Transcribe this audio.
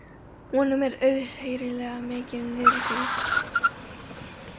Honum er auðheyrilega mikið niðri fyrir.